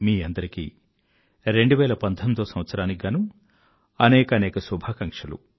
మీ అందరికీ 2019వ సంవత్సరానికి గానూ అనేకానేక శుభాకాంక్షలు